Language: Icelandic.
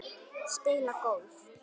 Spila golf?